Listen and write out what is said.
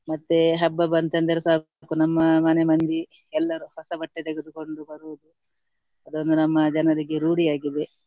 ಮತ್ತೆ ಹಬ್ಬ ಬಂತೆಂದರೆ ಸಾಕು ನಮ್ಮ ಮನೆ ಮಂದಿ ಎಲ್ಲರು ಹೊಸ ಬಟ್ಟೆ ತೆಗೆದುಕೊಂಡು ಬರುವುದು ಅದೊಂದು ನಮ್ಮ ಜನರಿಗೆ ರೂಢಿಯಾಗಿದೆ.